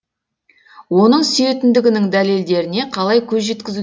оның сүйетіндігінің дәлелдеріне қалай көз жеткізу